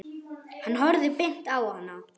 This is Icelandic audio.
Hann horfði beint á hana.